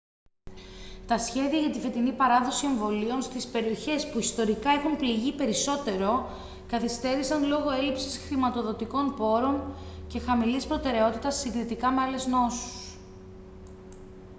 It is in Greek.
τα σχέδια για τη φετινή παράδοση εμβολίων στις περιοχές που ιστορικά έχουν πληγεί περισσότερο καθυστέρησαν λόγω έλλειψης χρηματοδοτικών πόρων και χαμηλής προτεραιότητας συγκριτικά με άλλες νόσους